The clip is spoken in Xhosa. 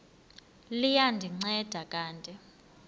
liya ndinceda kanti